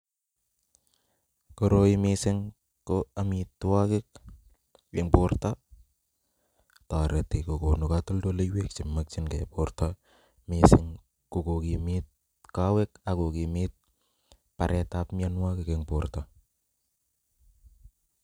Koroi mising ko amitwokik en borto kotoreti kokonu kotoldoleiwek chemokying'e borto mising ko kokimiit kowek ak kokimit baretab mionwokik eng' bort.